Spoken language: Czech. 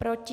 Proti?